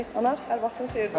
Anar, hər vaxtın xeyir.